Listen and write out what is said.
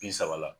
Bi saba la